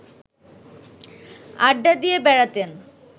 আড্ডা দিয়ে বেড়াতেন